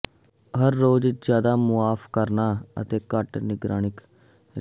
ਮੈਂ ਹੋਰ ਜਿਆਦਾ ਮੁਆਫ ਕਰਨਾ ਅਤੇ ਘੱਟ ਨਿਰਣਾਇਕ ਰਿਹਾ ਹਾਂ